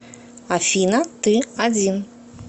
афина ты один